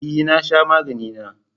E na sha magani na